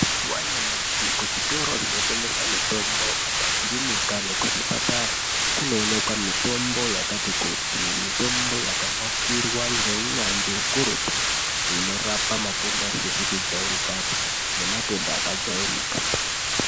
Mazuwa anyamashi kuzvitoro zvinotengesa mitombo kumakirinika nekuzvipatara kunooneka mitombo yakati kuti. Iyi mitombo yakanasirwa ngeunyanzwi ukurutu inorapa matenda asizi kujairikapi nematenda akajairika.